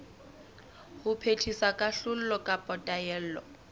ho phethisa kahlolo kapa taelo